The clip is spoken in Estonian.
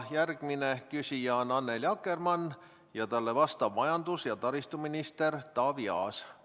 Järgmine küsija on Annely Akkermann ja talle vastab majandus- ja taristuminister Taavi Aas.